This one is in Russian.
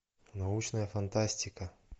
научная фантастика